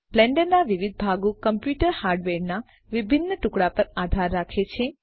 બ્લેન્ડરના વિવિધ ભાગો કમ્પ્યુટર હાર્ડવેરના વિભિન્ન ટુકડાઓ પર આધાર રાખે છે